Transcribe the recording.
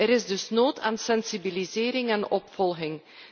Er is dus nood aan sensibilisering en opvolging.